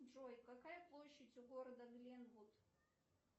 джой какая площадь у города гленвуд